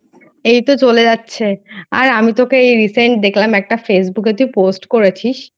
এই তো চলে যাচ্ছে. আর আমি তোকে এই Recent দেখলাম একটা Facebook এ তুই Post করেছিস